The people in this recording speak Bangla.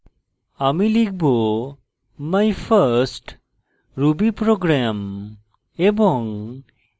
my লিখব my first ruby program